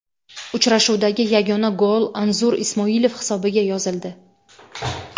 Uchrashuvdagi yagona gol Anzur Ismoilov hisobiga yozildi.